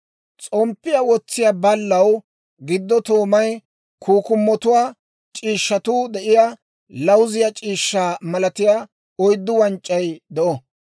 S'omppiyaa wotsiyaa baallaw giddo toomay, kukkumotuwaa c'iishshatuu de'iyaa lawuziyaa c'iishshaa malatiyaa oyddu wanc'c'ay de'o.